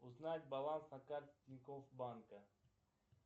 узнать баланс на карте тинькофф банка